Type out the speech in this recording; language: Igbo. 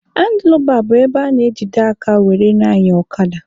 Handlụbaa bụ ebe a na-ejide aka were na-anya ọkada.